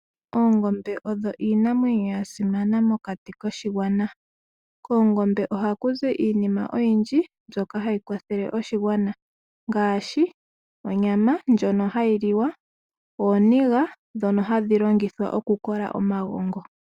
Oongombe odho iinamwenyo yasimana mokati koshigwana, koongombe ohakuzi iinima oyindji mbyoka hayi kwathele oshigwana ngaashi, onyama ndjono hayi liwa, ooniga dhono hadhi longithwa okukola omagongo.